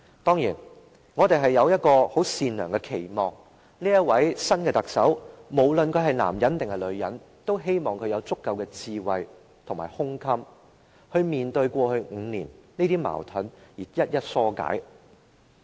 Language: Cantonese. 當然，我們有一個很善良的期望，無論這位新任特首是男還是女，我們也希望他/她會有足夠的智慧及胸襟面對過去5年的矛盾，並一一化解。